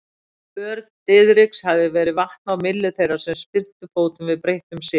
För Diðriks hafði verið vatn á myllu þeirra sem spyrntu fótum við breyttum sið.